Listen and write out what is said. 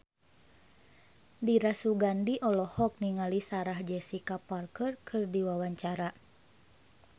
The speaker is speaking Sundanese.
Dira Sugandi olohok ningali Sarah Jessica Parker keur diwawancara